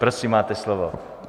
Prosím, máte slovo.